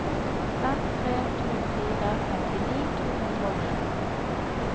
fem tre to fire femtini to hundre og ni